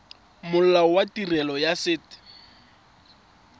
molao wa tirelo ya set